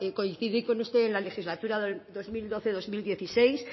coincidí con usted en la legislatura dos mil doce dos mil dieciséis